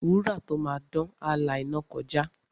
Wúrà tó máa dán, á la iná kọjá.